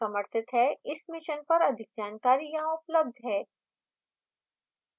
इस mission पर अधिक जानकारी यहां उपलब्ध है: